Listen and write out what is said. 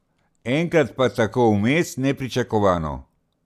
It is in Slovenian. Enkrat pa tako vmes, nepričakovano.